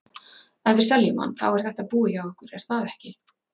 Ef við seljum hann, þá er þetta búið hjá okkur er það ekki?